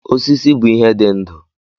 Osisi bụ ihe dị ndụ.